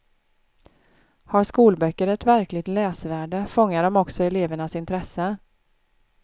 Har skolböcker ett verkligt läsvärde fångar de också elevernas intresse.